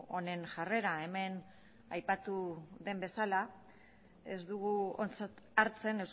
honen jarrera hemen aipatu den bezala ez dugu ontzat hartzen